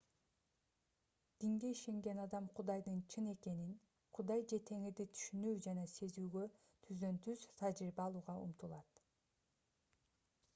динген ишенген адам кудайдын чын экенин/кудай же теңирди түшүнүү же сезүүгө түздөн-түз тажрыйба алууга умтулат